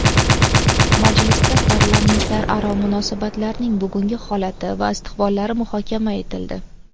Majlisda parlamentlararo munosabatlarning bugungi holati va istiqbollari muhokama etildi.